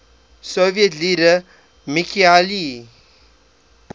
soviet leader mikhail